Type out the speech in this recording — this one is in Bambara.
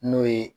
N'o ye